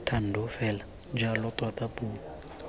thando fela jalo tota puo